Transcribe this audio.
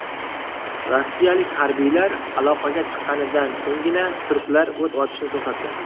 Rossiyalik harbiylar aloqaga chiqqanidan so‘nggina turklar o‘t ochishni to‘xtatgan.